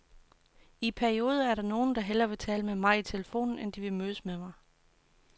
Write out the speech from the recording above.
I perioder er der nogle, der hellere vil tale med mig i telefonen, end de vil mødes med mig.